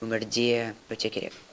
өмірде өте керек